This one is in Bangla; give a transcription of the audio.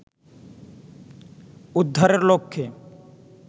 উদ্ধারের লক্ষ্যে